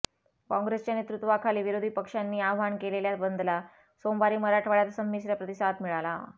काँग्रेसच्या नेतृत्वाखाली विरोधी पक्षांनी आवाहन केलेल्या बंदला सोमवारी मराठवाड्यात संमिश्र प्रतिसाद मिळाला